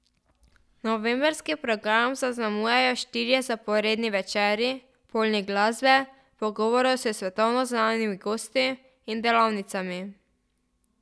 Novembrski program zaznamujejo štirje zaporedni večeri, polni glasbe, pogovorov s svetovno znanimi gosti in delavnicami.